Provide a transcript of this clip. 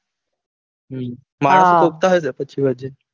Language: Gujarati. હમ મારુ પૂછતું આવજો પછી વજન